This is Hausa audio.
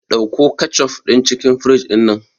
Ɗauko kecof din cikin fridge dinnan